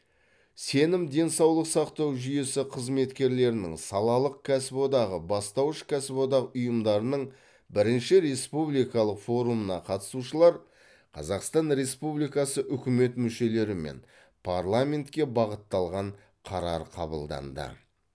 сенім денсаулық сақтау жүйесі қызметкерлерінің салалық кәсіподағы бастауыш кәсіподақ ұйымдарының бірінші республикалық форумына қатысушылар қазақстан республикасы үкімет мүшелері мен парламентке бағытталған қарар қабылдады